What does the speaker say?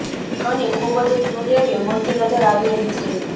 અહી ખુબ જ ક્યુટ એવી મૂર્તિ નજર આવી રહી છે